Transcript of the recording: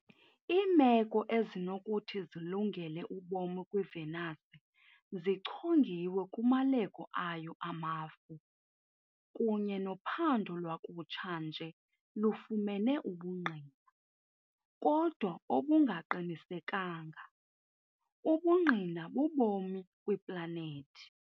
Iimeko ezinokuthi zilungele ubomi kwiVenus zichongiwe kumaleko ayo amafu, kunye nophando lwakutsha nje lufumene ubungqina, kodwa obungaqinisekanga, ubungqina bobomi kwiplanethi.